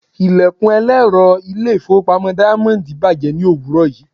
Ilẹ̀kùn ẹlẹ́rọ ilé-ìfowópamọ́ Diamond bàjẹ́ ní òwúrọ̀ yìí.